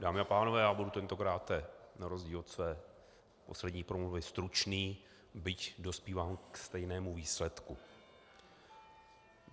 Dámy a pánové, já budu tentokráte na rozdíl od své poslední promluvy stručný, byť dospívám ke stejnému výsledku.